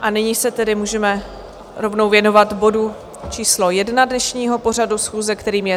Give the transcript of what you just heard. A nyní se tedy můžeme rovnou věnovat bodu číslo 1 dnešního pořadu schůze, kterým je